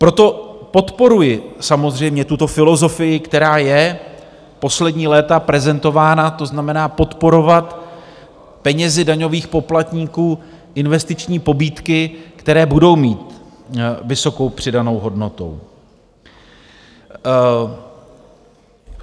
Proto podporuji samozřejmě tuto filozofii, která je poslední léta prezentována, to znamená, podporovat penězi daňových poplatníků investiční pobídky, které budou mít vysokou přidanou hodnotu.